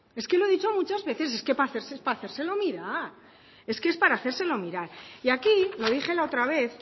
es que lo he dicho muchas veces es que es para hacérselo mirar y aquí lo dije la otra vez